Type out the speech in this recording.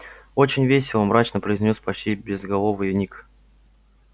очень весело мрачно произнёс почти безголовый ник